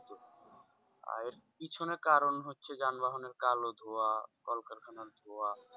এর পিছনে কারণ হচ্ছে যানবাহনের কালো ধোঁয়া, কলকারখানার ধোঁয়া,